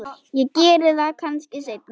Ég geri það kannski seinna.